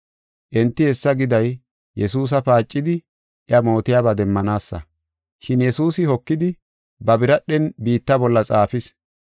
Enti hessa giday Yesuusa paacidi iya mootiyaba demmanaasa. Shin Yesuusi hokidi ba biradhen biitta bolla xaafis.